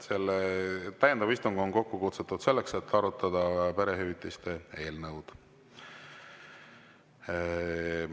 See täiendav istung on kokku kutsutud selleks, et arutada perehüvitiste eelnõu.